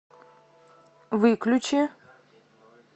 выключи